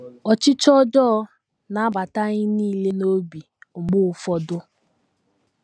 Ọchịchọ ọjọọ na - abata anyị nile n’obi mgbe ụfọdụ.